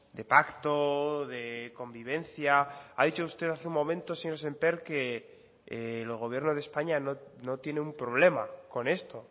de pacto de convivencia ha dicho usted hace un momento señor sémper que el gobierno de españa no tiene un problema con esto